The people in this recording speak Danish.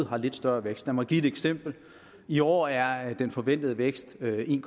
har lidt større vækst lad mig give et eksempel i år er er den forventede vækst en